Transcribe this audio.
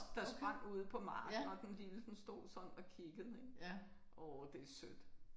Der sprang ude på marken og den lille den stod sådan og kiggede ik. Åh det sødt